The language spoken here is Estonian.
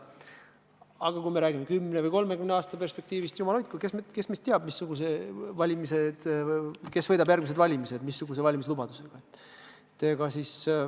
Aga kui me räägime kümne või 30 aasta perspektiivist – jumal hoidku, kes meist teab, kes võidab järgmised valimised ja missuguste valimislubadustega.